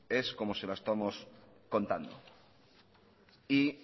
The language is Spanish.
es como se la estamos contando